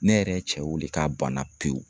Ne yɛrɛ cɛ weele k'a banna pewu.